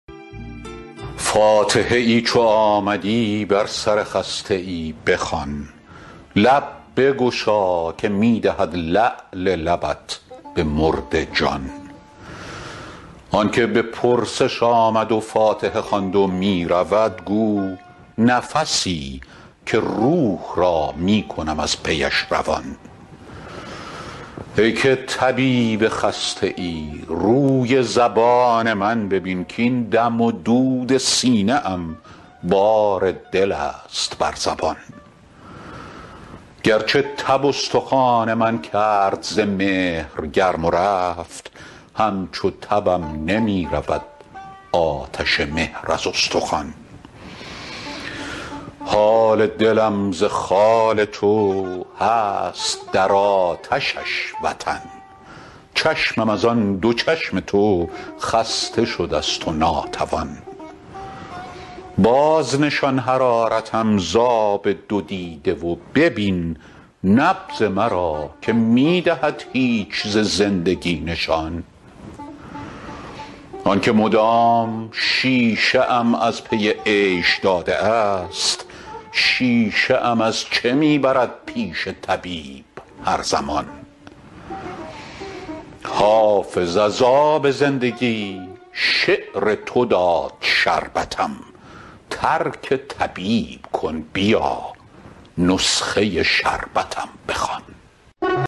فاتحه ای چو آمدی بر سر خسته ای بخوان لب بگشا که می دهد لعل لبت به مرده جان آن که به پرسش آمد و فاتحه خواند و می رود گو نفسی که روح را می کنم از پیش روان ای که طبیب خسته ای روی زبان من ببین کـاین دم و دود سینه ام بار دل است بر زبان گرچه تب استخوان من کرد ز مهر گرم و رفت همچو تبم نمی رود آتش مهر از استخوان حال دلم ز خال تو هست در آتشش وطن چشمم از آن دو چشم تو خسته شده ست و ناتوان بازنشان حرارتم ز آب دو دیده و ببین نبض مرا که می دهد هیچ ز زندگی نشان آن که مدام شیشه ام از پی عیش داده است شیشه ام از چه می برد پیش طبیب هر زمان حافظ از آب زندگی شعر تو داد شربتم ترک طبیب کن بیا نسخه شربتم بخوان